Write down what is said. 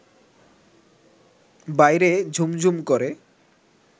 বাইরে ঝুমঝুম করে